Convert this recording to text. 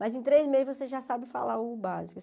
Mas em três meses você já sabe falar o básico.